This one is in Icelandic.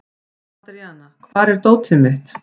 Andríana, hvar er dótið mitt?